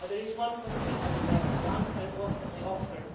There is one question I would like to answer what can we offer?